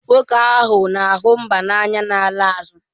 Nwoke ahụ na-ahụ mba n'anya na-ala azụ.